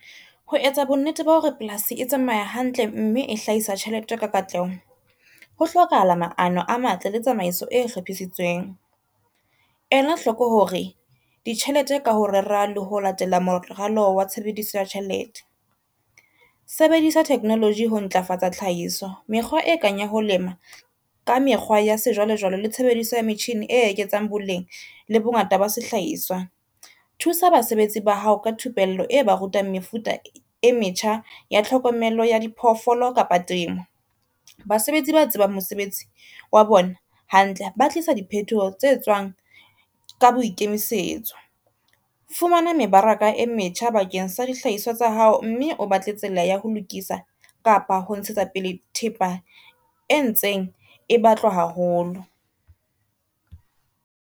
Ho etsa bonnete ba hore polasi e tsamaya hantle mme e hlahisa tjhelete ka katleho, ho hlokahala maano a matle le tsamaiso e hlophisitsweng. Ela hloko hore ditjhelete ka ho rera le ho latela moralo wa tshebediso ya tjhelete. Sebedisa technology ho ntlafatsa tlhahiso, mekgwa e kang ya ho lema ka mekgwa ya sejwalejwale le tshebediso ya metjhini e eketsang boleng le bongata ba sehlahiswa. Thusa basebetsi ba hao ka thupello e ba rutang mefuta e metjha ya tlhokomelo ya diphoofolo kapa temo. Basebetsi ba tsebang mosebetsi wa bona hantle ba tlisa dihethoho tse tswang ka boikemisetso. Fumana mebaraka e metjha bakeng sa dihlahiswa tsa hao mme o batle tsela ya ho lokisa kapa ho ntshetsa pele thepa e ntseng e batlwa haholo.